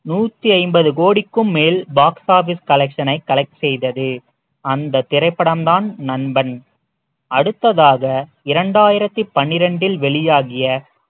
நூத்தி ஐம்பது கோடிக்கும் மேல் box office collection ஐ collect செய்தது அந்த திரைப்படம் தான் நண்பன் அடுத்ததாக இரண்டாயிரத்தி பன்னிரண்டில் வெளியாகிய